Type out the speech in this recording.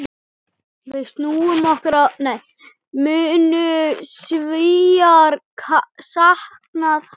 Munu Svíar sakna hans?